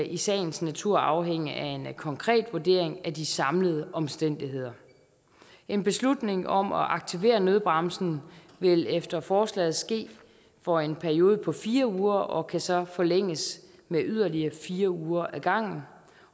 i sagens natur afhænge af en konkret vurdering af de samlede omstændigheder en beslutning om at aktivere nødbremsen vil efter forslaget ske for en periode på fire uger og kan så forlænges med yderligere fire uger ad gangen